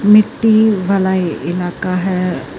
ਮਿੱਟੀ ਵਾਲਾ ਇਲਾਕਾ ਹੈ।